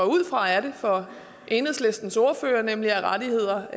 ud fra er det for enhedslistens ordfører nemlig at rettigheder